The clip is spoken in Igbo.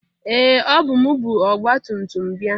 Ee! Ọbụ m bu ọgba tumtum bịa.